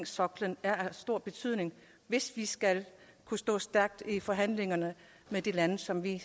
soklen er af stor betydning hvis vi skal kunne stå stærkt i forhandlingerne med de lande som vi